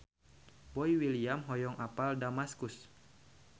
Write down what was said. Boy William hoyong apal Damaskus